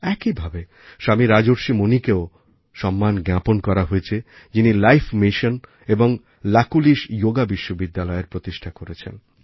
একই ভাবে স্বামী রাজর্ষি মুনিকেও সম্মান জ্ঞাপন করা হয়েছেযিনি লাইফ মিশন এবং লাকুলিশ যোগা বিশ্ববিদ্যালয়এর প্রতিষ্ঠা করেছেন